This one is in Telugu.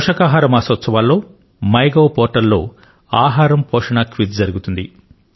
పోషకాహార మాసోత్సవాల్లో మైగోవ్ పోర్టల్ లో ఆహారం పోషణ క్విజ్ జరుగుతుంది